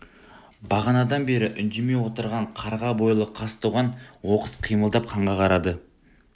бағанадан бері үндемей отырған қарға бойлы қазтуған оқыс қимылдап ханға қарады